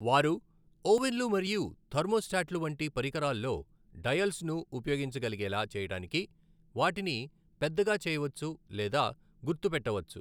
వారు ఓవెన్లు మరియు థెర్మోస్టాట్లు వంటి పరికరాల్లో డయల్స్ను ఉపయోగించగలిగేలా చేయడానికి వాటిని పెద్దగా చేయవచ్చు లేదా గుర్తుపెట్టవచ్చు.